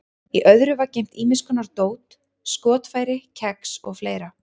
Í öðru var geymt ýmis konar dót, skotfæri, kex og fleira.